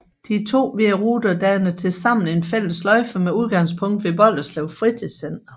De to hvide ruter danner tilsammen en fælles sløjfe med udgangspunkt ved Bolderslev Fritidscenter